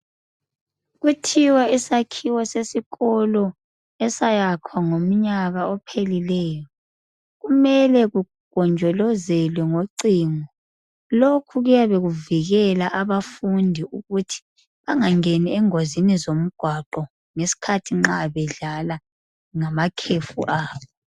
Kuthiwa isakhiwo sesikolo esayakhwa ngomnyaka ophelileyo kumele kugonjolozelwe ngocingo. Lokhu kuyabe kuvikela abafundi ukuthi bangangeni engozini zomgwaqo ngesikhathi nxa bedlala ngamakhefu abo.